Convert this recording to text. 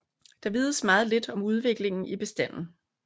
Der vides meget lidt om udviklingen i bestanden